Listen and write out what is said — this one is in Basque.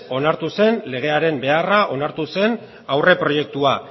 onartu zen legearen beharra onartu zen aurreproiektua